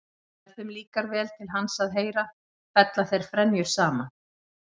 En ef þeim líkar vel til hans að heyra fella þeir frenjur saman.